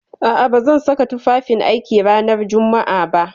A'a, ba zan saka tufafin aiki ranar Jumma'a ba.